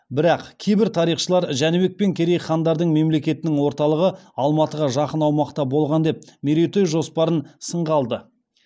бірақ кейбір тарихшылар жәнібек пен керей хандардың мемлекетінің орталығы алматыға жақын аумақта болған деп мерейтой жоспарын сынға алды